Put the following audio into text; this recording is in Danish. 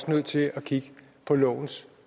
nødt til at kigge på lovens